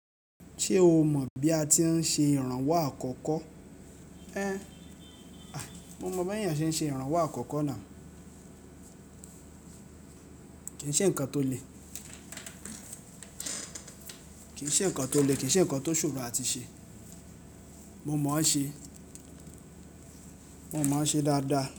Ṣé o mọ̀ bí a ti ń ṣe ìrànwọ́ àkọ́kọ́? Ẹ́, mo mọ̀ bí ẹeyan se ń ṣe ìrànwọ́ àkọ́kọ́ náà. Kì í ṣe ǹkan tó le, kì í ṣe ǹkan tó le, kì í ṣe ǹkan tó ṣòro áti ṣe. Mo mọ̀ ọ́n ṣe, mo mọ̀ ọ́n ṣe dáadáa.